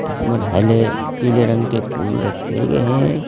इसमें हले पीले रंग के फूल रखे हुए हैं।